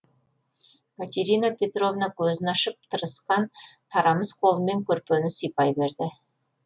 катерина петровна көзін ашып тырысқан тарамыс қолымен көрпені сипай берді